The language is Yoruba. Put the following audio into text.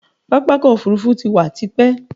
Pápákọ̀ òfurufú ti wà tio.